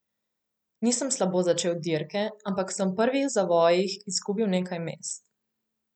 Nisem slabo začel dirke, ampak sem v prvih zavojih izgubil nekaj mest.